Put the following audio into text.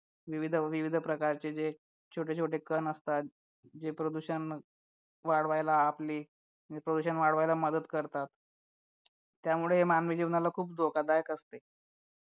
विविध विविध प्रकारचे जे छोटे छोटे कण असतात जे प्रदूषण वाढवायला आपली प्रदूषण वाढवायला मदत करतात त्यामुळे हे मानवी जीवनाला खूप धोकादायक असते